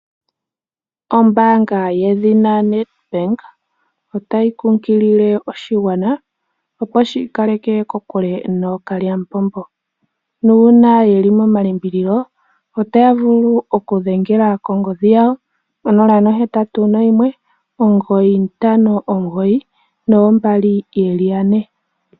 Ombaanga yedhina Net bank otayi kunkilile oshigwana opo shii kaleke kokule nookalyamupombo, nuuna yeli momalimbililo otaya vulu oku dhengela kongodhi yawo 0819592222.